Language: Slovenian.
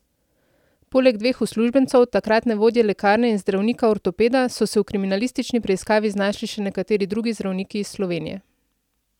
Poleg dveh uslužbencev, takratne vodje lekarne in zdravnika ortopeda, so se v kriminalistični preiskavi znašli še nekateri drugi zdravniki iz Slovenije.